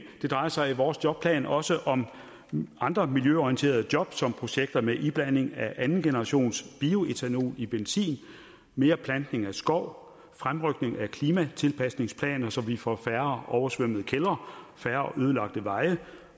det drejer sig i vores jobplan også om andre miljøorienterede job som projekter med iblanding af andengenerationsbioetanol i benzin mere plantning af skov fremrykning af klimatilpasningsplaner så vi får færre oversvømmede kældre færre ødelagte veje